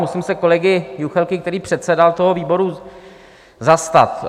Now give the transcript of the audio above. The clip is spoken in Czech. Musím se kolegy Juchelky, který předsedal tomu výboru, zastat.